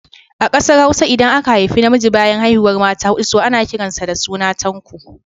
A Ƙasar Hausa, idan aka haifu namiji bayan haihuwar mata huɗu, to ana kiran sa da suna Tanko